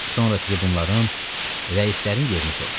Sonra tribunların rəislərin yerini soruştu.